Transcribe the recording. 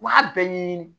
U b'a bɛɛ ɲɛɲini